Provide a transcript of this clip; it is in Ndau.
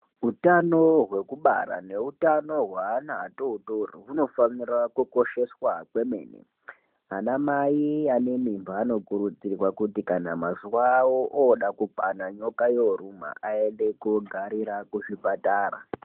Utano hwekubara neutano hweana atootori hunofanira kukosheswa kwemene. Anamai anemimba anokurudzirwa kuti kana mazuva avo ooda kukwana, nyoka yooruma aende koogarira kuzvipatara.